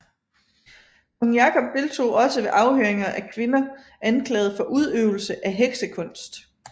Kong Jakob deltog også ved afhøringer af kvinder anklaget for udøvelse af heksekunst